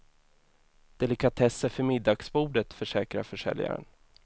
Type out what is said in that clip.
Delikatesser för middagsbordet, försäkrar försäljaren.